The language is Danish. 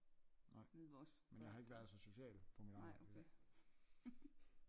Nej men jeg har ikke været så social på mit arbejde i dag